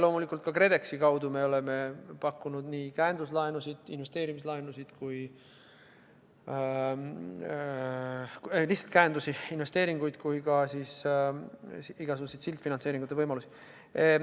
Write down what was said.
Loomulikult oleme ka KredExi kaudu pakkunud käenduslaenusid ja investeerimislaenusid, aga ka lihtsalt käendusi, investeeringuid ja igasuguseid sildfinantseeringu võimalusi.